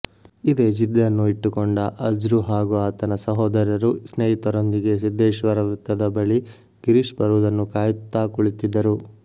ಇದೇ ಜಿದ್ದನ್ನು ಇಟ್ಟುಕೊಂಡ ಅಜ್ರು ಹಾಗೂ ಆತನ ಸಹೋದರರು ಸ್ನೇಹಿತರೊಂದಿಗೆ ಸಿದ್ದೇಶ್ವರ ವೃತ್ತದ ಬಳಿ ಗಿರೀಶ್ ಬರುವುದನ್ನು ಕಾಯುತ್ತಾ ಕುಳಿತಿದ್ದರು